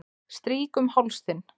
Strýk um háls þinn.